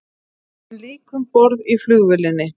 Enn lík um borð í flugvélinni